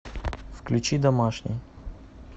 включи домашний